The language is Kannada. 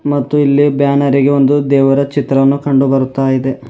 ಮತ್ತು ಇಲ್ಲಿ ಬ್ಯಾನರಿಗೆ ಒಂದು ದೇವರ ಚಿತ್ರವನ್ನು ಕಂಡು ಬರುತ್ತಾ ಇದೆ.